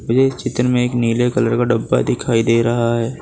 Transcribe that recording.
ये चित्र में एक नीले कलर का डब्बा दिखाई दे रहा है।